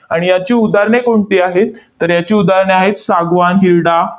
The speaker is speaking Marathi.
आणि याची उदाहरणे कोणती आहेत? तर याची उदाहरणे आहेत, सागवान, हिरडा,